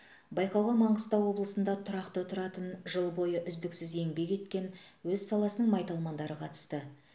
айқауға маңғыстау облысында тұрақты тұратын жыл бойы үздіксіз еңбек еткен өз саласының майталмандары қатысты